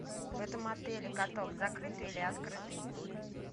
в этом отеле каток закрытый или открытый